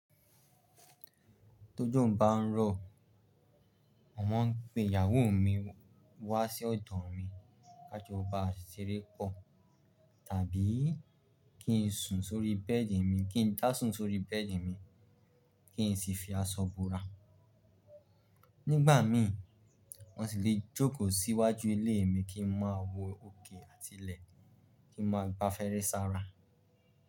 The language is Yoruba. Tójò bá ńrọ̀, màá mọ̀ pé ìyàwó mi wá sí ọ̀dọ̀ mi kájo bá ṣeré pọ̀, tàbí kí n sùn sórí bẹ́ẹ̀dì mi, kí n dàsún sórí bẹ́ẹ̀dì mi, kí n sì fi aṣọ búra. Nígbà mí, wọ́n sì le jókòó sí iwájú ilé mi kí n máa wo òkè àti ilẹ̀, kí n máa gba afèrè sára.